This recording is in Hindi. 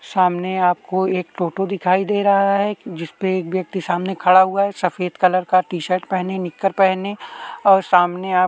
सामने आपको एक टोटो दिखाई दे रहा है जिसपे एक व्यक्ति सामने खड़ा हुआ है सफ़ेद कलर का टी-शर्ट पहने निकर पहने और सामने आप --